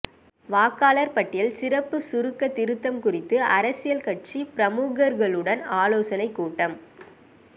வாக்காளர் பட்டியல் சிறப்பு சுருக்க திருத்தம் குறித்து அரசியல் கட்சி பிரமுகர்களுடன் ஆலோசனை கூட்டம்